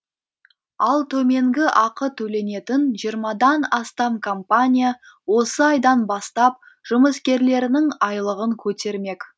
ал төменгі ақы төленетін жиырмадан астам компания осы айдан бастап жұмыскерлерінің айлығын көтермек